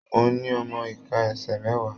Mo ní ọmọ iká ẹsẹ mẹwa.